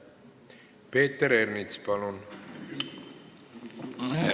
Peeter Ernits, palun!